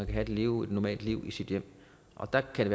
kan leve et normalt liv i sit hjem og der kan